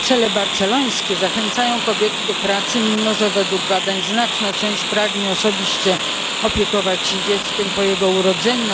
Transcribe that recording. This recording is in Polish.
Cele barcelońskie zachęcają kobiety do pracy, mimo że według badań znaczna część pragnie osobiście opiekować się dzieckiem po jego urodzeniu.